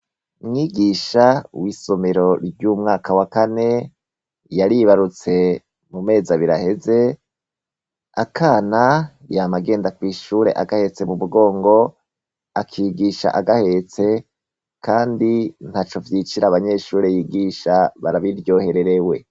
Umwigisha w'isomero ry'umwaka wa kane yaribarutse mu mezi abiri aheze akana yama agenda kw'ishure agaheze mu mugongo akigisha agahetse kandi ntaco vyicira abanyeshure yigisha barabiryohererewe.